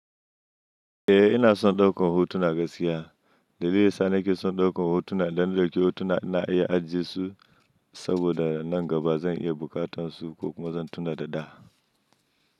Eh ina son daukar hotuna gaskiya. Dalili da yasa nake son daukar hotuna idan na dauki hotuna ina iya ajiye su saboda nan gaba zan iya buƙatar su ko kuma zan tuna da da.